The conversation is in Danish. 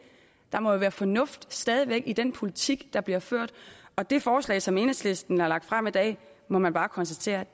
der må jo være fornuft stadig væk i den politik der bliver ført og det forslag som enhedslisten har lagt frem i dag må man bare konstatere ikke